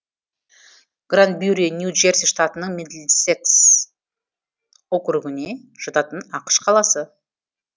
гранбюри нью джерси штатының мидлсекс округіне жататын ақш қаласы